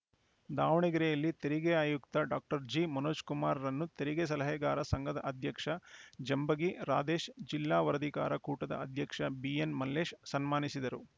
ದಾವಣಗೆರೆಯಲ್ಲಿ ತೆರಿಗೆ ಆಯುಕ್ತ ಡಾಕ್ಟರ್ ಜಿಮನೋಜ ಕುಮಾರರನ್ನು ತೆರಿಗೆ ಸಲಹೆಗಾರರ ಸಂಘದ ಅಧ್ಯಕ್ಷ ಜಂಬಗಿ ರಾಧೇಶ್‌ ಜಿಲ್ಲಾ ವರದಿಗಾರರ ಕೂಟದ ಅಧ್ಯಕ್ಷ ಬಿಎನ್‌ಮಲ್ಲೇಶ್‌ ಸನ್ಮಾನಿಸಿದರು